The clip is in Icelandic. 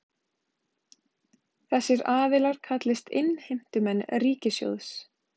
Þessir aðilar kallist innheimtumenn ríkissjóðs